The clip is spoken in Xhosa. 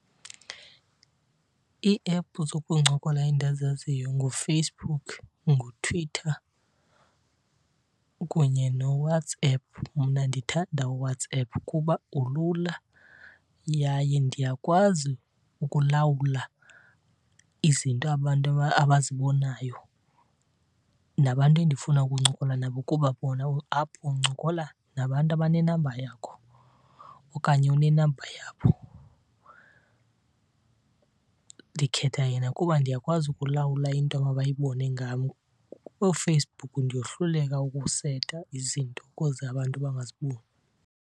Ii-app zokuncokola endizaziyo nguFacebook, nguTwitter kunye noWhatsApp. Mna ndithanda uWhatsApp kuba ulula yaye ndiyakwazi ukulawula izinto abantu abazibonayo nabantu endifuna ukuncokola nabo kuba bona apho uncokola nabantu abanenamba yakho okanye onenamba yabo. Ndikhetha yena kuba ndiyakwazi ukulawula into amabayibone ngam. KooFacebook ndiyohluleka ukuseta izinto ukuze abantu bangaziboni.